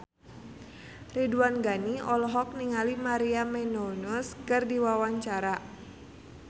Ridwan Ghani olohok ningali Maria Menounos keur diwawancara